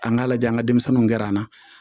An k'a lajɛ an ka denmisɛnninw kɛra an na